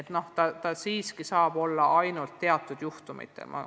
Tehnoloogiat saab rakendada ainult teatud juhtumitel.